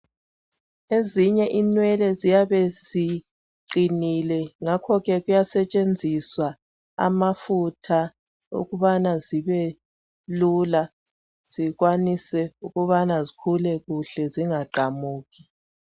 Ezinye inwele ziyabe ziqinile ngakho kuyasetshenziswa amafutha ukubana zibe lula zikwanise ukubana zikhule kuhle zingaqamuki.